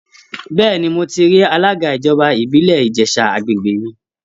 Bẹ́ẹ̀ni, mo ti rí alága ìjọba ìbílẹ̀ Ìjẹ̀ṣà àgbègbè mi